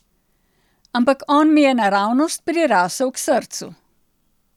Ampak on mi je naravnost prirasel k srcu.